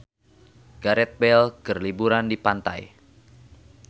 Gareth Bale keur liburan di pantai